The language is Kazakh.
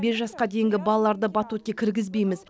бес жасқа дейінгі балаларды батутке кіргізбейміз